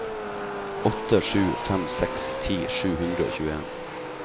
åtte sju fem seks ti sju hundre og tjueen